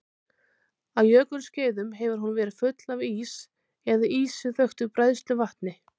Á jökulskeiðum hefur hún verið full af ís eða ísi þöktu bræðsluvatni.